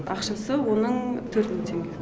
ақшасы оның төрт мың теңге